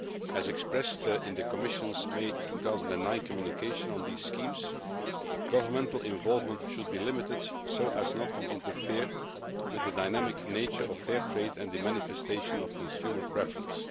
As expressed in the Commission's May 2009 communication on these schemes, governmental involvement should be limited so as not to interfere with the dynamic nature of Fair Trade and the manifestation of consumer preference.